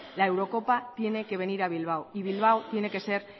la eurocopa tiene que venir a bilbao bilbao tiene que ser